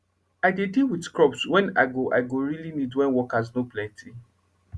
i dey deal with crops wen i go i go really need wen workers nor plenty